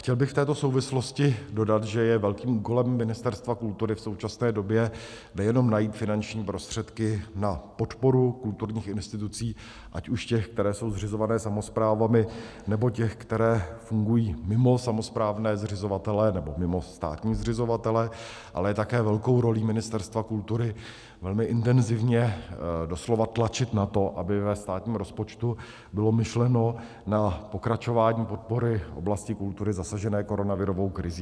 Chtěl bych v této souvislosti dodat, že je velkým úkolem Ministerstva kultury v současné době nejenom najít finanční prostředky na podporu kulturních institucí, ať už těch, které jsou zřizované samosprávami, nebo těch, které fungují mimo samosprávné zřizovatele nebo mimo státní zřizovatele, ale je také velkou rolí Ministerstva kultury velmi intenzivně doslova tlačit na to, aby ve státním rozpočtu bylo myšleno na pokračování podpory oblasti kultury zasažené koronavirovou krizí.